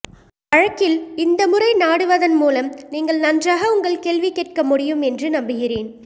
வழக்கில் இந்த முறை நாடுவதன் மூலம் நீங்கள் நன்றாக உங்கள் கேள்வி கேட்க முடியும் என்று நம்புகிறேன்